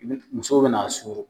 musow bina suru